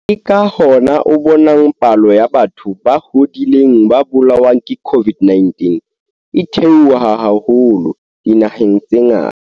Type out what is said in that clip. Ke ka hona o bonang palo ya batho ba hodileng ba bolawang ke COVID-19 e theoha haholo dinaheng tse ngata.